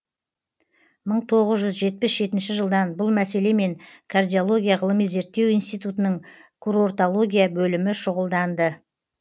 мың тоғыз жүз жетпіс жетінші жылдан бұл мәселемен кардиология ғылыми зерттеу институтының курортология бөлімі шұғылданды